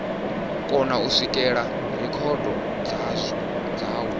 kona u swikelela rekhodo dzawo